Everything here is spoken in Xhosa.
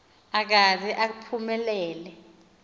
akaze aphume lele